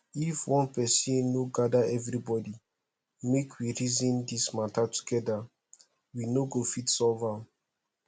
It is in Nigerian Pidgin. if one person no gather everybody make we reason dis matter together we no go fit solve am